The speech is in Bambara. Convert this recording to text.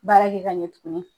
Baara kɛ ka ɲɛ tuguni.